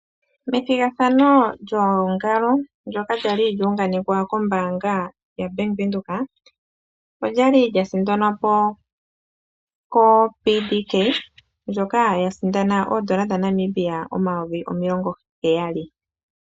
Methigathano lyoongalo ndyoka lyali lyuunganekwa kombaanga yaBank Windhoek olyali lyasindanwa po koPDK mboka yasindana oondola dhaNamibia omayovi omilongo heyali.